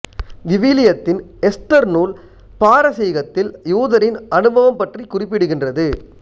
விவிலியத்தின் Esther நூல் பாரசீகத்தில் யூதரின் அனுபவம் பற்றிக் குறிப்பிடுகின்றது